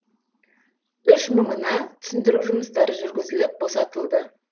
үш мыңына түсіндіру жұмыстары жүргізіліп босатылды